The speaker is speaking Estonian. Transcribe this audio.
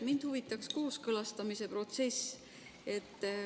Mind huvitab kooskõlastamise protsess.